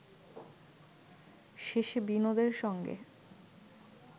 শেষে বিনোদের সঙ্গে